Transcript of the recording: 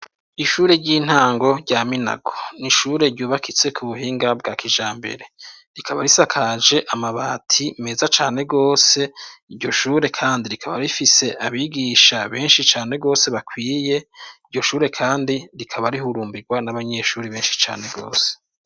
Ishure ry'intango rya Minago, n'ishure ryubakitse ku buhinga bwa kijambere rikaba risakaje amabati meza cane rwose, iryo shure kandi rikaba rifise abigisha benshi cane gose bakwiye , iryo shure kandi rikaba rihurumbirwa n'abanyeshuri benshi cane rwose.